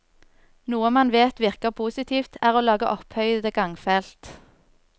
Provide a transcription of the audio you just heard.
Noe man vet virker positivt, er å lage opphøyede gangfelt.